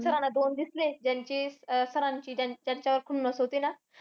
Sir ना दोन दिसले. ज्यांचे sir ची त्यांचा~ त्यांच्यावर होती ना.